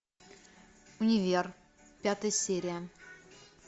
универ пятая серия